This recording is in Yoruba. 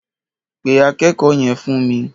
Pe akẹ́kọ̀ọ́ yẹn fún mi.